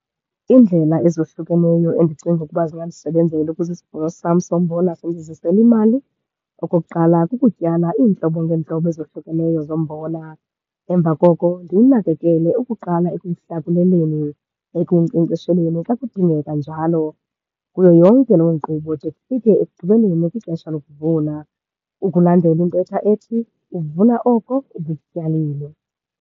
Iindlela ezohlukeneyo endicinga ukuba zingandisebenzela ukuze isivuno sam sombona sindizisele imali, okokuqala kukutyala iintlobo ngeentlobo ezohlukeneyo zombona. Emva koko ndiwunakekele ukuqala ekuwuhlakuleleni, ekuwunkcenkcesheleni xa kudingeka njalo. Kuyo yonke loo nkqubo de kufike ekugqibeleni kwixesha lokuvuna ukulandela intetha ethi, uvuna oko ubukutyalile.